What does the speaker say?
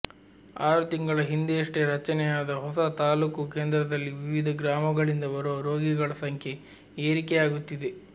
ಆರು ತಿಂಗಳ ಹಿಂದೆಯಷ್ಟೇ ರಚನೆಯಾದ ಹೊಸ ತಾಲ್ಲೂಕು ಕೇಂದ್ರದಲ್ಲಿ ವಿವಿಧ ಗ್ರಾಮಗಳಿಂದ ಬರುವ ರೋಗಿಗಳ ಸಂಖ್ಯೆ ಏರಿಕೆಯಾಗುತ್ತಿದೆ